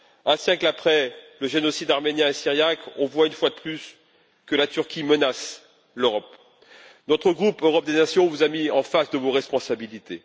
Un siècle après les génocides arménien et syriaque, on voit une fois de plus que la Turquie menace l'Europe. Notre groupe Europe des nations vous a mis en face de vos responsabilités.